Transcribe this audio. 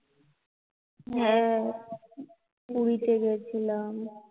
হ্যা, পুরী তে গেছিলাম